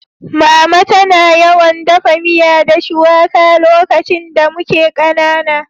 Mama tana yawan daffa miya da shuwaka lokacin da muke kanana.